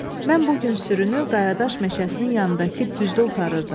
Mən bu gün sürünü qayadaş meşəsinin yanındakı düzdə otarırdım.